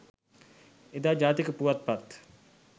එදා ජාතික පුවත්පත්